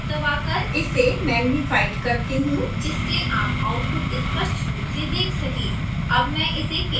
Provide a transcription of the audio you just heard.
मैं control + दबाकर इसे मैगनिफाइ करती हूँ जिससे आप output स्पष्ट रूप से let सकें